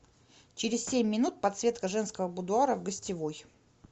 через семь минут подсветка женского будуара в гостевой